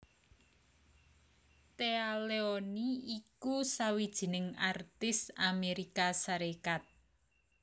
Téa Leoni iku sawijining artis Amérika Sarékat